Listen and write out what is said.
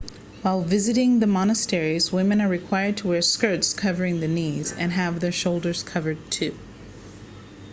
while visiting the monasteries women are required to wear skirts covering the knees and have their shoulders covered too